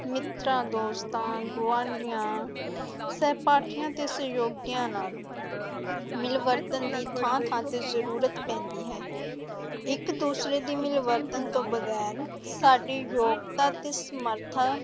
ਮਿੱਤਰਾਂ ਦੋਸਤਾਂ, ਗੁਆਂਢੀਆਂ ਸਹਿਪਾਠੀਆਂ ਤੇ ਸਹਿਯੋਗੀਆਂ ਨਾਲ ਮਿਲਵਰਤਨ ਦੀ ਥਾਂ-ਥਾਂ ਤੇ ਜ਼ਰੂਰਤ ਪੈਂਦੀ ਹੈ, ਇੱਕ-ਦੂਸਰੇ ਦੀ ਮਿਲਵਰਤਨ ਤੋਂ ਵਗ਼ੈਰ ਸਾਡੀ ਯੋਗਤਾ ਤੇ ਸਮਰੱਥਾ